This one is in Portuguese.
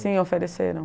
Sim, ofereceram.